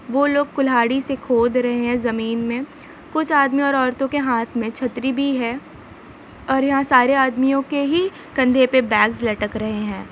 वो लोग कुल्हारी से खोद रहै है जमीन मे कुछ आदमी और औरतों के हाथ मे छतरी भी है और यहाँ सारे आदमियों के ही कंधे पे बेग्स लटक रहै है।